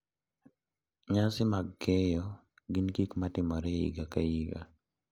Nyasi mag keyo gin gik ma timore higa ka higa.